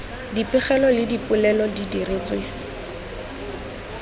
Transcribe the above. dipegelo le dipoelo di diretswe